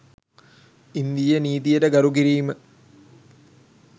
ඉන්දීය නීතියට ගරු කිරීම